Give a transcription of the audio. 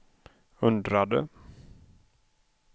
undrade